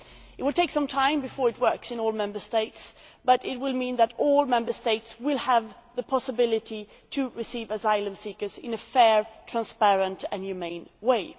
It will take some time before it works in all Member States but it will mean that all Member States will have the possibility of receiving asylum seekers in a fair, transparent and humane way.